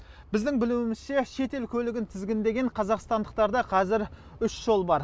біздің білуімізше шетел көлігін тізгіндеген қазақтандықтарда қазір үш жол бар